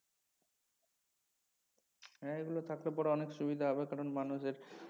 হ্যা এগুলো থাকলে পরে অনেক সুবিধা হবে কারন মানুষের